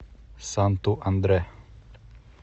санту андре